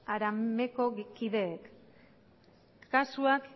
harameko kideek kasuak